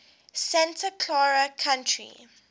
santa clara county